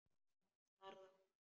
Hann starði á mig.